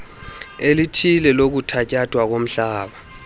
elithile lokuthatyathwa komhlala